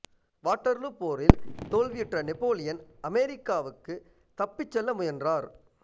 Waterloo போரில் தோல்வியுற்ற Napoleon அமெரிக்காவுக்குத் தப்பிச் செல்ல முயன்றார்